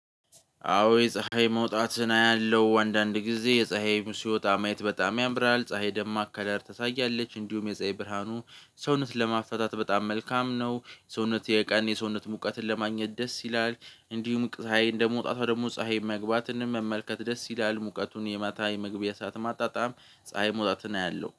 አዎ የፀሀይ መውጣትን አያለሁ አንዳንድ ጊዜ የፀሀይ ሲወጣ ማየት በጣም ያምራል ፀሀይ ደማቅ ከለር ተሳያለች እንዲሁም የፀሀይ ብርሃኑ ሰውነትን ለማፈታት በጣም መልካም ነው ሰውነት የቀን የሰውነት ሙቀትን ለማግኘት ደስ ይላል። እንዲሁም ፀሀይ እንደመውጣቷ ደግሞ ፀሀይ መግባትን መመልከት ደስ ይላል ሙቀቱን የማታ የመግቢያ ሰዓት ማጣጣም። ፀሀይ መውጣትን አያለሁ